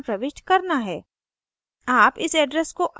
आपको यह अच्छी तरह प्रविष्ट करना है